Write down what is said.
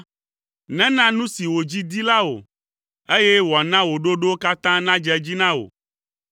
Nena nu si wò dzi di la wò, eye wòana wò ɖoɖowo katã nadze edzi na wò.